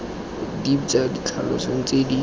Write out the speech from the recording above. dipe tsa ditlhaloso tse di